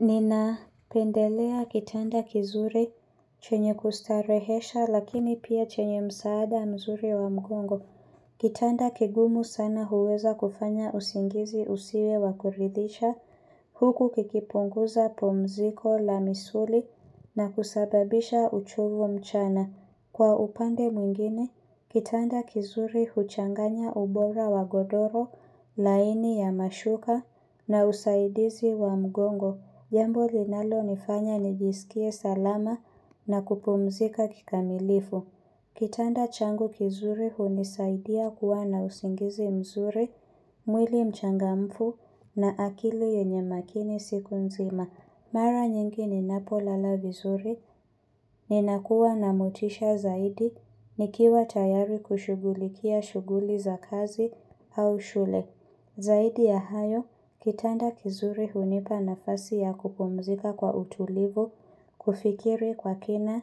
Nina pendelea kitanda kizuri chenye kustarehesha lakini pia chenye msaada mzuri wa mgongo. Kitanda kigumu sana huweza kufanya usingizi usiwe wakuridhisha, huku kikipunguza pumziko la misuli na kusababisha uchovu mchana. Kwa upande mwingine, kitanda kizuri huchanganya ubora wa godoro, laini ya mashuka na usaidizi wa mgongo. Jambo linalo nifanya nijisikie salama na kupumzika kikamilifu. Kitanda changu kizuri hunisaidia kuwa na usingizi mzuri, mwili mchangamfu na akili yenye makini siku nzima. Mara nyingi ninapo lala vizuri, ninakuwa na motisha zaidi, nikiwa tayari kushughulikia shughuli za kazi au shule. Zaidi ya hayo, kitanda kizuri hunipa nafasi ya kupumzika kwa utulivu, kufikiri kwa kina,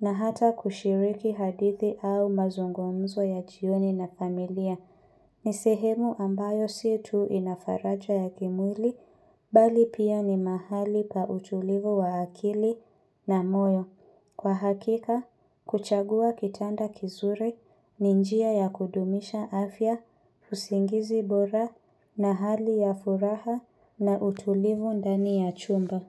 na hata kushiriki hadithi au mazungumzo ya jioni na familia. Ni sehemu ambayo sii tu inafaraja ya kimwili, bali pia ni mahali pa utulivu wa akili na moyo. Kwa hakika, kuchagua kitanda kizuri ni njia ya kudumisha afya, usingizi bora na hali ya furaha na utulivu ndani ya chumba.